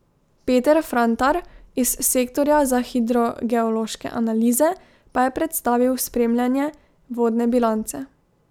Peter Frantar iz sektorja za hidrogeološke analize pa je predstavil spremljanje vodne bilance.